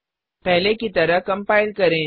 पहले की तरह कम्पाइल करें